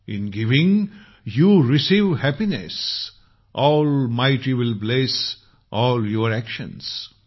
in giving you receive happiness almighty will bless all your actions